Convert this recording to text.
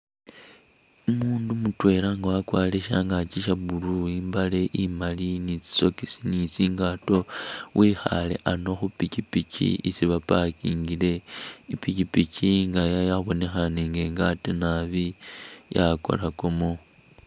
Umundu mutwela nga wakwarire shyangakyi Sha blue, imbale imali ni tsi sokisi ni tsingato wikhale ano khu pichipichi isi pa parkingile,i pichipichi nga yabonekhane nga ingade nabi yakorakamo.